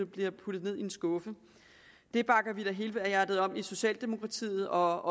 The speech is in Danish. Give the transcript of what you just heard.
bliver puttet ned i en skuffe det bakker vi da helhjertet op om i socialdemokratiet og